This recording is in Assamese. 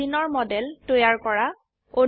বেঞ্জিনৰ মডেল তৈয়াৰ কৰা